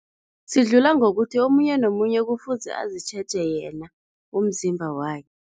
Sidlula ngokuthi omunye nomunye kufuze azitjheje yena umzimba wakhe.